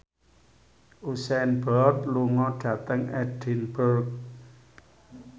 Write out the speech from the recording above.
Usain Bolt lunga dhateng Edinburgh